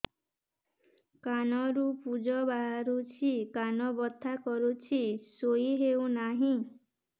କାନ ରୁ ପୂଜ ବାହାରୁଛି କାନ ବଥା କରୁଛି ଶୋଇ ହେଉନାହିଁ